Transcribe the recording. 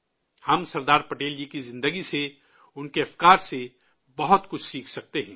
ہم سردار پٹیل جی کی زندگی سے، ان کے خیالات سے، بہت کچھ سیکھ سکتے ہیں